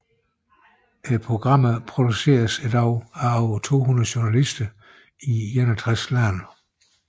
Programmerne produceres i dag af over 200 journalister i 61 forskellige lande